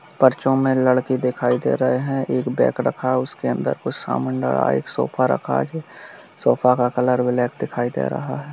पर्चों मे लड़के दिखाई दे रहे हैं एक बैग रखा उसके अंदर कुछ समान रखा एक सोफ़ा रखा है | सोफ़ा का कलर ब्लैक दिखाई दे रहा है।